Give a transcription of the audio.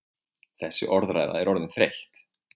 Þessi orðræða er orðin þreytt!